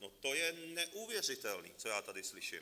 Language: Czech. No, to je neuvěřitelné, co já tady slyším!